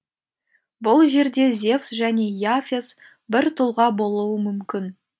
бұл жерде зевс және и афес бір тұлға болуы мүмкін